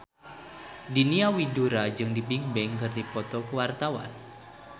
Diana Widoera jeung Bigbang keur dipoto ku wartawan